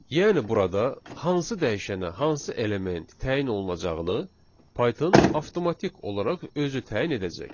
Yəni burada hansı dəyişənə, hansı element təyin olunacağını Python avtomatik olaraq özü təyin edəcək.